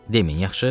Deməyin yaxşı?